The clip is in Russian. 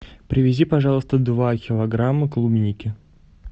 привези пожалуйста два килограмма клубники